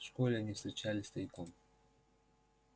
в школе они встречались тайком